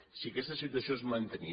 si aquesta situació es mantenia